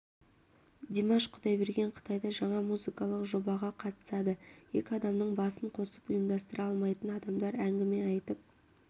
димаш құдайберген қытайда жаңа музыкалық жобаға қатысады екі адамның басын қосып ұйымдастыра алмайтын адамдар әңгіме айтып